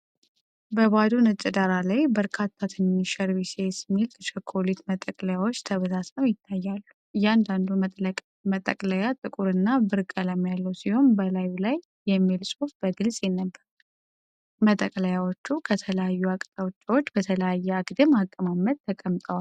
በባዶ ነጭ ዳራ ላይ በርካታ ትንንሽ ኸርሼይስ (HERSHEY'S) ሚልክ ቸኮሌት መጠቅለያዎች ተበታትነው ይታያሉ። እያንዳንዱ መጠቅለያ ጥቁር እና ብር ቀለም ያለው ሲሆን በላዩ ላይ "HERSHEY'S milk chocolate" የሚል ጽሑፍ በግልጽ ይነበባል። መጠቅለያዎቹ ከተለያዩ አቅጣጫዎች በተለያየ አግድም አቀማመጥ ተቀምጠዋል።